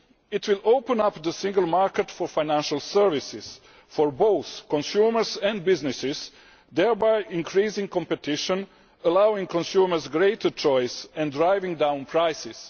It will open up the single market for financial services for both consumers and businesses, thereby increasing competition, allowing consumers greater choice and driving down prices.